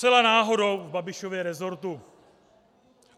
Zcela náhodou v Babišově resortu.